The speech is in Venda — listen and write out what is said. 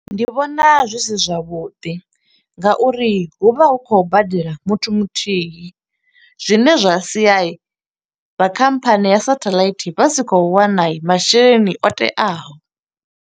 Ndi vhona zwi si zwavhuḓi nga uri hu vha hu khou badela muthu muthihi. Zwine zwa sia vha khamphani ya satheḽaithi vha si khou wana masheleni o teaho.